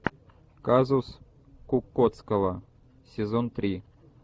казус кукоцкого сезон три